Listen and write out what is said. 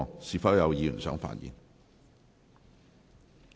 是否有議員想發言？